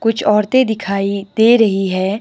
कुछ औरतें दिखाई दे रही है।